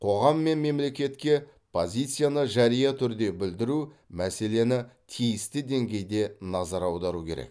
қоғам мен мемлекетке позицияны жария түрде білдіру мәселесіне тиісті деңгейде назар аудару керек